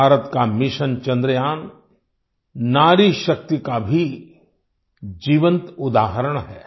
भारत का मिशन चंद्रयान नारीशक्ति का भी जीवंत उदाहरण है